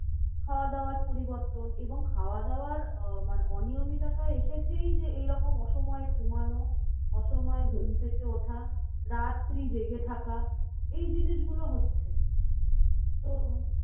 খাওয়া দাওয়ার পরিবর্তন এবং খাওয়া দাওয়ার আহ মানে অনিয়মিত একটা এসেছেই যে, এইরকম অসময় ঘোমানো। অসময় ঘুম থেকে ওঠা। রাত্রি জেগে থাকা, এই জিনিসগুলো হচ্ছে।